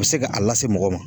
bese ka a lase mɔgɔw ma